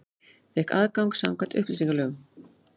Fékk aðgang samkvæmt upplýsingalögum